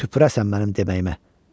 tüpürəsən mənim deməyimə.